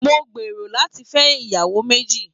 Mo n gbéró láti fẹ ìyàwó méjì.